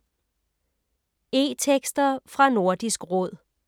E-tekster fra Nordisk Råd